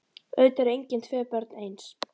Auðvitað eru engin tvö börn eins.